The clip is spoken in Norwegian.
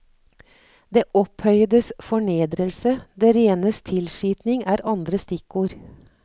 Det opphøyedes fornedrelse, det renes tilskitning er andre stikkord.